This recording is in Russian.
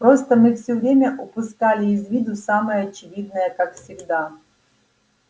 просто мы всё время упускали из виду самое очевидное как всегда